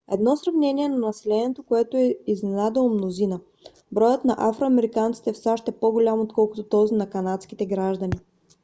едно сравнение на населението което е изненадало мнозина: броят на афро-американците в сащ е по-голям отколкото този на канадските граждани